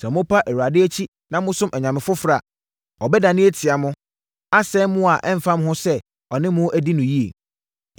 Sɛ mopa Awurade akyi na mosom anyame foforɔ a, ɔbɛdane atia mo, asɛe mo a ɛmfa ho sɛ ɔne mo adi no yie.”